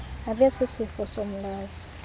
abe sisifo somhlaza